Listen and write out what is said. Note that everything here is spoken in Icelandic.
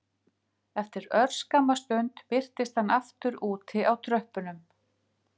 Eftir örskamma stund birtist hann aftur úti á tröppunum